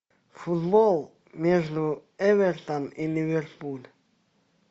футбол между эвертон и ливерпуль